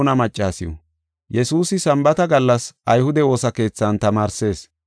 Yesuusi Sambaata gallas ayhude woosa keethan tamaarsees.